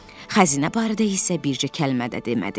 Xəzinə barədə isə bircə kəlmə də demədi.